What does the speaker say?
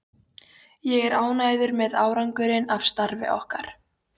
Ég er ánægður með árangurinn af starfi okkar.